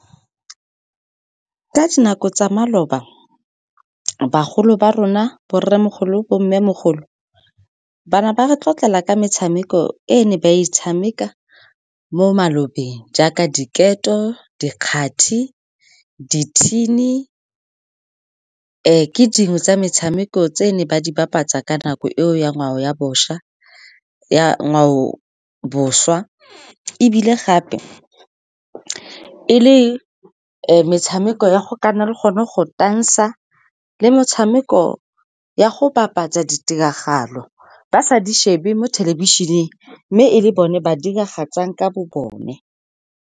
Ka nako tsa maloba, bagolo ba rona borremogolo, bo mmemogolo, ba ne ba re tlotlela ka metshameko e ne ba e tshameka mo malobeng jaaka diketo, dikgati, dithini. Ke dingwe tsa metshameko tse ne ba di bapatsa ka nako eo ya ngwao bošwa, ebile gape e le metshameko ya go ka nna le gone go tansa, le metshameko ya go bapatsa ditiragalo ba sa di shebe mo thelebišeneng, mme e le bone ba diragatsang ka bo bone.